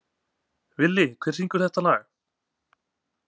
Villi, hver syngur þetta lag?